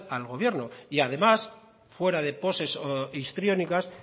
la sal al gobierno y además fuera de poses histriónicas